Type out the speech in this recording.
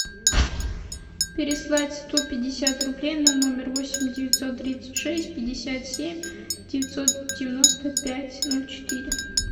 переслать сто пятьдесят рублей на номер восемь девятьсот тридцать шесть пятьдесят семь девятьсот девяносто пять ноль четыре